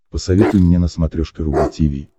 посоветуй мне на смотрешке рубль ти ви